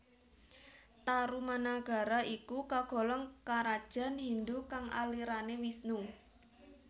Tarumanagara iku kagolong Karajan Hindu kang alirane Wisnu